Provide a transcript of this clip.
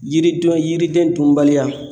Yiridenw yiriden dunbaliya